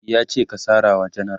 yace "ka sarawa jenera!